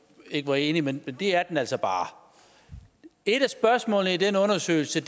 ikke er enig men det er den altså bare et af spørgsmålene i den undersøgelse